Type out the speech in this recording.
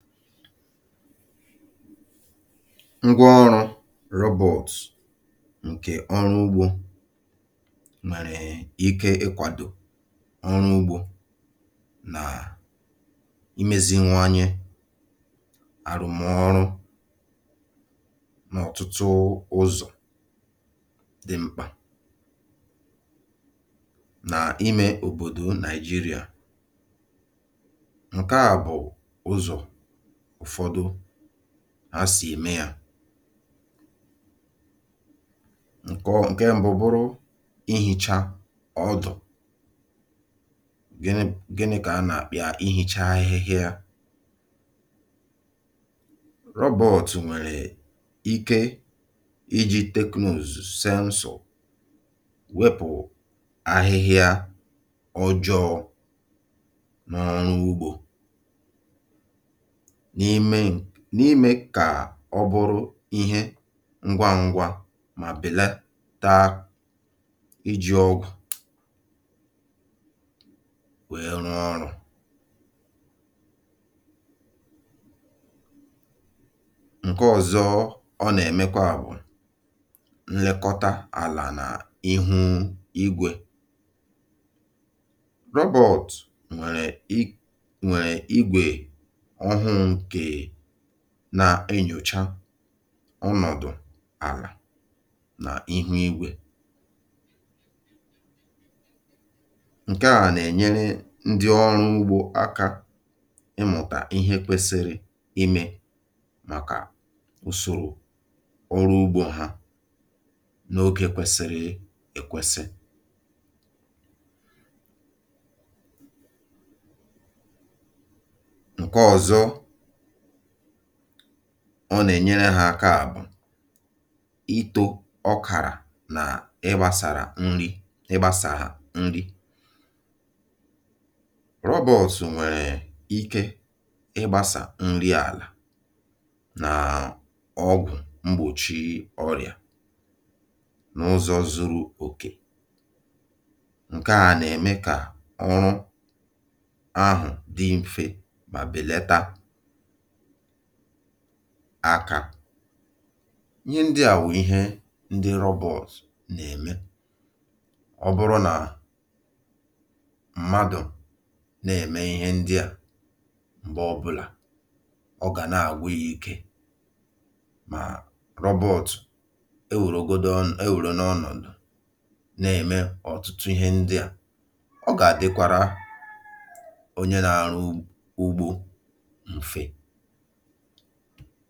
Ngwa ọrụ̇ rọbọ̀t ǹkè ọrụ ụgbọ nwèrè ike ịkwàdò ọrụ ụgbọ nàà imèziwanyị àrụmọrụ n’ọtụtụ ụzọ̀ dị mkpà nà imè ọ̀bọdò Nàịjirịà. Nke a bụ ụzọ̀ ụfọdụ ha sì eme ya: Nke mbụ bụrụ ịhèchá-ọdụ, gịnị ka a na-akpọ ya: $ịhèchá-áhịhịa$. $Rọbọ̀t$ nwèrè ike iji sénsọr wepụ áhịhịa ọjọọ n’ọrụ ụgbọ, n’ime n’ime ka ọ bụrụ ihe ǹgàǹgwà ma beleta iji ọgwụ wee rụọ ọrụ. Nke ọzọ ọ na-emekwa bụ elekọta álá na íhú-ígwè. Rọbọ̀t nwè nwèrè ígwe ọhụrụ nke na-enyọcha ọnọdụ álá na íhú-ígwè. Nke a na-enyere ndị ọ̀rụ̀-ụgbọ aka ịmụta ihe kwesịrị ime, mèkà úsoro ọ̀rụ̀ ụgbọ ha n’ógè kwesịrị ekwesị. Nke ọzọ ọ na-enyere ha áka bụ ị́tọ ọ́kà na ị́gbasá nri ị́gbasá nri. Rọbọ̀t nwèrè ike ịgbaara nri árịá na ọgwụ egbochị ọrịa n’ụzọ zuru okè. Nke a na-eme ka ọrụ ahu dị nfe ma belata aka. ihe ndị a bụ ihe ndi rọbọ̀t na-eme. Ọ bụrụ na mmadụ na-eme ihe ndị a, mgbe ọ bụla ọ ga na-agwụ ya ike, ma rọbọ̀t enwèligọdụ enwèlịgọ ọnọdụ na-eme ma ọtụtụ ihe ndị a, ọ ga-adịkwaàra onye na-arụ ụgbọ nfe.